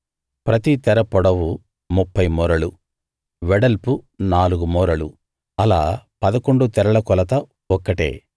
ప్రతి తెర పొడవు ముప్ఫై మూరలు వెడల్పు నాలుగు మూరలు అలా పదకొండు తెరల కొలత ఒక్కటే